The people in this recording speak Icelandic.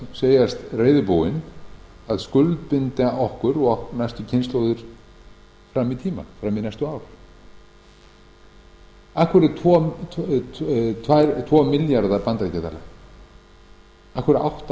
segjast reiðubúin að skuldbinda okkur og næstu kynslóðir fram í tímann fram í næstu ár af hverju tvo milljarða bandaríkjadala af hverju átta